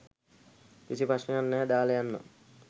කිසි ප්‍රශ්නයක් නැහැ දාලා යන්නම්.